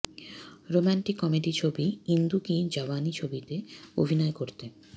romantic comedy ছবি ইন্দু কি জাওয়ানি ছবিতে অভিনয় করতে